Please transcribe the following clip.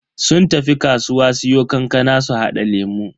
Sun tafi kasuwa siyo kankana su hada lemu.